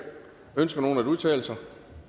ønsker nogen at udtale sig